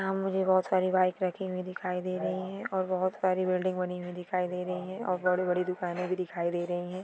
यहाँ मुझे बहुत सारी बाईक रखी हुई दिखाई दे रही है और बहुत सारी बिल्डिंग बनी हुई दिखाई दे रही है और बडी-बडी दुकाने भी दिखाई दे रही है।